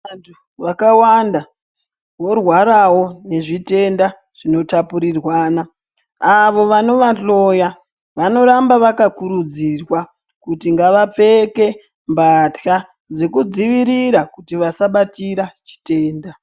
Vantu vakawanda vorwarawo nezvitenda zvinotapurirwana . Avo vanovahloya vanoramba vakakurudzirwa kuti ngavapfeke mbatya dzekudzivirira kuti vasabatira chitenda.